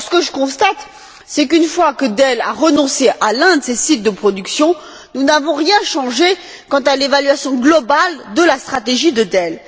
Or, ce que je constate, c'est qu'une fois que Dell a renoncé à l'un de ces sites de production, nous n'avons rien changé quant à l'évaluation globale de la stratégie de Dell.